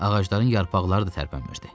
Ağacların yarpaqları da tərpənmirdi.